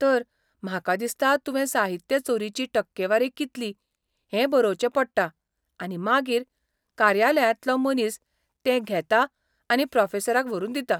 तर, म्हाका दिसता तुवें साहित्य चोरिची टक्केवारी कितली हें बरोवचें पडटा आनी मागीर कार्यालयांतलो मनीस तें घेता आनी प्रोफेसराक व्हरून दिता.